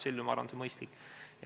Sel juhul, ma arvan, on see mõistlik.